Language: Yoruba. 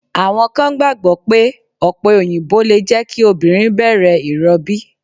Àwọn kan gbàgbọ́ pé ọ̀pẹ òyìnbó lè jẹ́ kí obìnrin bẹ̀rẹ̀ ìrọbí.